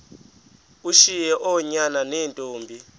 ushiye oonyana neentombi